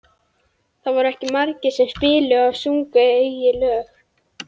Það voru ekki margir sem spiluðu og sungu eigin lög.